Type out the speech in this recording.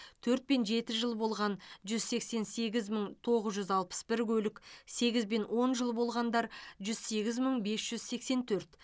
төрт пен жеті жыл болған жүз сексен сегіз мың тоғыз жүз алпыс бір көлік сегіз бен он жыл болғандар жүз сегіз мың бес жүз сексен төрт